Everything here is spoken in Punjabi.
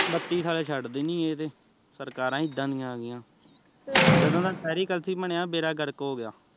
ਬੱਤੀ ਸਾਲੇ ਛੱਡਦੇ ਨੀ ਏਹ ਸਰਕਾਰਾਂ ਹੀਂ ਇੱਦਾਂ ਦੀਆ ਆ ਗੀਆ ਜਦੋਂ ਦਾ ਕਲਸੀ ਬਣਿਆ ਬੇੜਾ ਗਰਕ ਹੋਗਿਆ